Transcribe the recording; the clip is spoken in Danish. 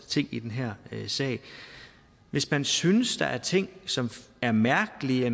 ting i den her sag at hvis man synes der er ting som er mærkelige